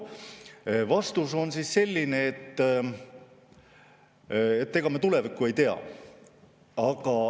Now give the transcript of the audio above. Vastus on selline, et ega me tulevikku ei tea.